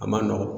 A man nɔgɔn